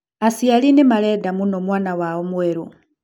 Aciari nĩ marenda mũno mwana wao mwerũ.